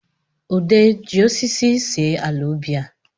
Ude ji osisi esi ala ubi a